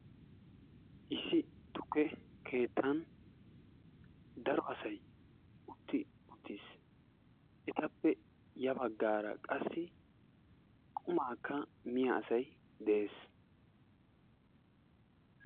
Issi tukke kettan daro asay utti utiis, etappe ya bagaara qassi qumaakka miya asay de'ees.